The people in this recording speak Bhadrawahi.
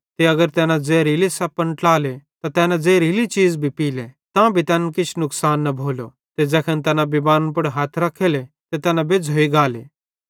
ते अगर तैना ज़ेहरीले सप्पन ट्लाले त कने ज़ेहरीली चीज़ भी खाले तांभी तैनन् किछ नुकसान न भोलो ते ज़ैखन तैना बिमारन पुड़ हथ रख्खेले ते तैना बेज़्झ़ोइ गाले